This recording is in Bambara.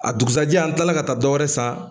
A dugusɛjɛ an tilala ka taa dɔ wɛrɛ san